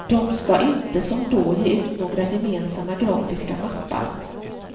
De ska inte som då ge ut några gemensamma grafiska mappar.